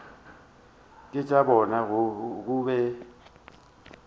ke tša bona go be